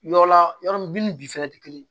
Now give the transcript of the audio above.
Yɔrɔ la yɔrɔ min bin ni bi fɛɛrɛ tɛ kelen ye